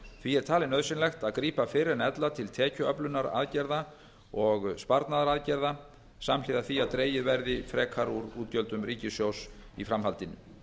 því er talið nauðsynlegt að grípa fyrr en ella til tekjuöflunaraðgerða og sparnaðaraðgerða samhliða því að dregið verði frekar úr útgjöldum ríkissjóðs í framhaldinu